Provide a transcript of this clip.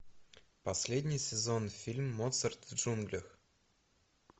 последний сезон фильм моцарт в джунглях